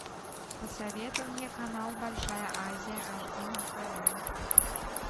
посоветуй мне канал большая азия аш ди на тв